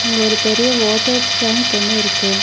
இங்க ஒரு பெரிய வாட்டர் டேங்க் ஒன்னு இருக்கு.